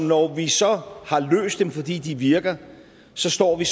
når vi så har løst dem altså fordi de virker står vi